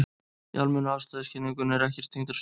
Í almennu afstæðiskenningunni er ekkert þyngdarsvið.